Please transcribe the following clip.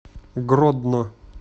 гродно